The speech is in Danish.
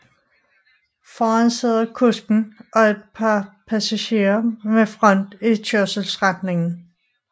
Foran sidder kusken og et par pasagerer med front i kørselsretningen